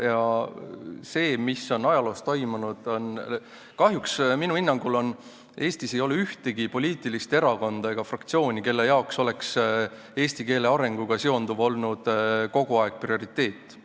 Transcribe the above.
Ja see, mis on ajaloos toimunud – kahjuks ei ole minu hinnangul Eestis ühtegi poliitilist erakonda ega fraktsiooni, kelle jaoks eesti keele arenguga seonduv oleks olnud kogu aeg prioriteet.